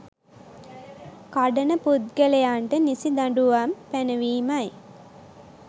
කඩන පුද්ගලයන්ට නිසි දඬුවම් පැනවීමයි